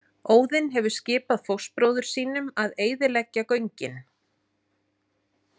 Óðinn hefur skipað fóstbróður sínum að eyðileggja göngin.